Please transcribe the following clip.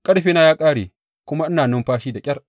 Ƙarfina ya ƙare kuma ina numfashi da ƙyar.